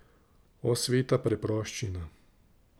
O, sveta preproščina!